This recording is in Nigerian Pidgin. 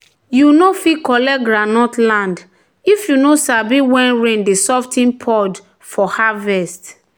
"you no fit collect groundnut land if you no sabi when rain dey sof ten pod for harvest."